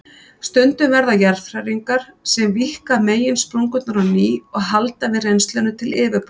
Stundum verða jarðhræringar sem víkka meginsprungurnar á ný og halda við rennslinu til yfirborðs.